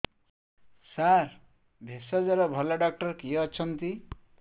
ସାର ଭେଷଜର ଭଲ ଡକ୍ଟର କିଏ ଅଛନ୍ତି